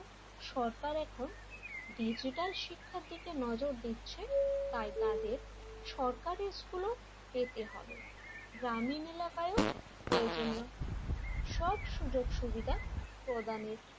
সরকার এখন ডিজিটাল শিক্ষার দিকে নজর দিচ্ছে তাই তাদের সরকারি স্কুলে পেতে হবে। গ্রামীন এলাকায় প্রয়োজনও সব সুযোগ সুবিধা প্রদানের,